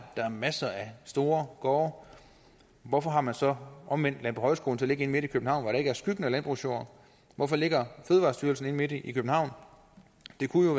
der er masser af store gårde hvorfor har man så omvendt landbohøjskolen til at ligge inde midt i københavn hvor der ikke er skyggen af landbrugsjord hvorfor ligger fødevarestyrelsen inde midt i københavn det kunne